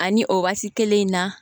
Ani o waati kelen in na